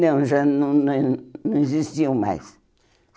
Não, já não nem não existiam mais.